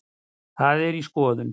Það er í skoðun.